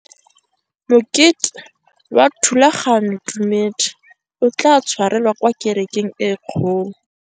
Mokete wa thulaganyôtumêdi o tla tshwarelwa kwa kerekeng e kgolo.